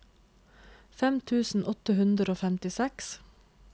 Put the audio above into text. fem tusen åtte hundre og femtiseks